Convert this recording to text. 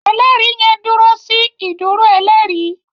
ẹlẹri yen dúró sí ìdúró ẹlẹri.